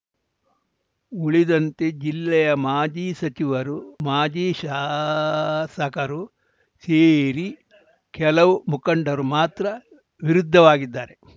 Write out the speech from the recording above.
ಉಳಿದಂತೆ ಜಿಲ್ಲೆಯ ಮಾಜಿ ಸಚಿವರು ಮಾಜಿ ಶಾಸಕರು ಸೇರಿ ಕೆಲವು ಮುಖಂಡರು ಮಾತ್ರ ವಿರುದ್ಧವಾಗಿದ್ದಾರೆ